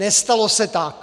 Nestalo se tak.